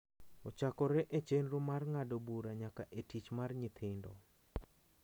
Ochakore e chenro mar ng’ado bura nyaka e tich mar nyithindo .